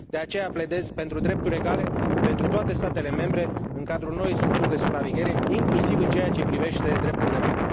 De aceea, pledez pentru drepturi egale pentru toate statele membre în cadrul noii structuri de supraveghere, inclusiv în ceea ce privește dreptul de vot.